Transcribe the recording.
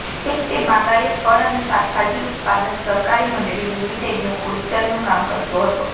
તે બાગાયત ફળ અને શાકભાજી ઉત્પાદક સહકારી મંડળી લિમિટેડનું ઓડિટનું કામ કરતો હતો